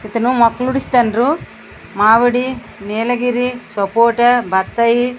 ఇతను మొక్కని పూడుస్తుండ్రు. మామిడి నీలగిరి సపోటా బత్తాయి --